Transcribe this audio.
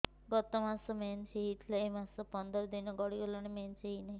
ଗତ ମାସ ମେନ୍ସ ହେଇଥିଲା ଏ ମାସ ପନ୍ଦର ଦିନ ଗଡିଗଲାଣି ମେନ୍ସ ହେଉନାହିଁ